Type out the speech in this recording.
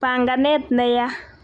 panganet ne ya'